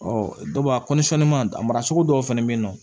dɔw b'a a maracogo dɔw fana bɛ yen nɔ